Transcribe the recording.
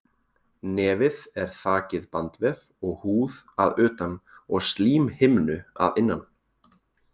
Nefið er þakið bandvef og húð að utan og slímhimnu að innan.